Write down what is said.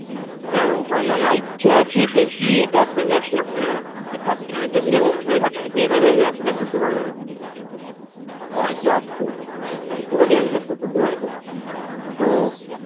এবার ওখানে নামার ইচ্ছা আছে দেখি এবার ব্যবসা খোলার আছে, Certificate দেওয়ার আছে certificate টা পেয়ে গেলে ব্যবসা খুলতে পারব আর কি, হ্যাঁ একটু আসতে এসে গেলেই আমি ব্যবসা শুরু করে দিতে পারব তো,